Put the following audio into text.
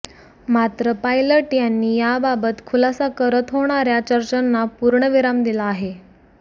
मात्र पायलट यांनी याबाबत खुलासा करत होणाऱ्या चर्चांना पूर्णविराम दिला आहे